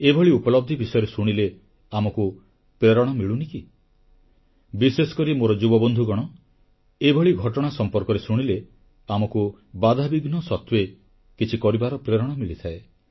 ଏଭଳି ଉପଲବ୍ଧି ବିଷୟରେ ଶୁଣିଲେ ଆମକୁ ପ୍ରେରଣା ମିଳୁନି କି ବିଶେଷ କରି ମୋର ଯୁବବନ୍ଧୁଗଣ ଏଭଳି ଘଟଣା ସମ୍ପର୍କରେ ଶୁଣିଲେ ଆମକୁ ବାଧାବିଘ୍ନ ସତ୍ୱେ କିଛି କରିବାର ପ୍ରେରଣା ମିଳିଥାଏ